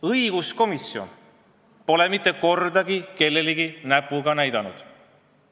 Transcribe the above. Õiguskomisjon pole mitte kordagi kellegi peale näpuga näidanud.